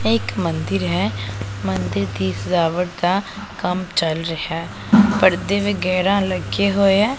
ਇਹ ਇੱਕ ਮੰਦਿਰ ਹੈ ਮੰਦਿਰ ਦੀ ਸਜਾਵਟ ਦਾ ਕੰਮ ਚਲ ਰਿਹਾ ਪਰਦੇ ਵਗੈਰਾ ਲੱਗੇ ਹੋਏ ਐ।